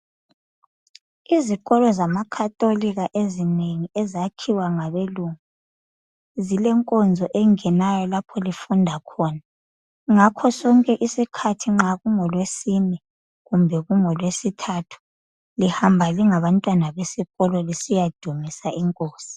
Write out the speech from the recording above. Izikolo zama catholic ezinengi ezakhiwa ngabelungu zilenkonzo engenayo lapho lifunda khona ngakho sonke isikhathi nxa kungolwesine kumbe kungolwesithathu lihamba lingabantwana besikolo lisiya dumisa inkosi.